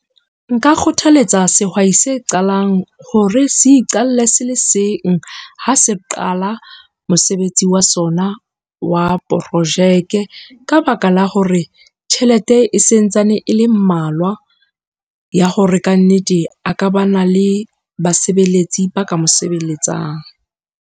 Nka kgothaletsa sehwai se qalang hore se iqalla sele seng, ha se qala mosebetsi wa sona wa projeke. Ka baka la hore tjhelete e santsane e le mmalwa ya hore kannete a ka bana le basebeletsi ba ka mosebeletsang.